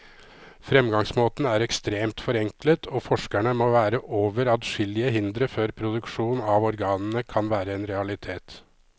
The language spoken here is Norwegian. Fremgangsmåten er ekstremt forenklet, og forskerne må over adskillige hindre før produksjon av organene kan være en realitet.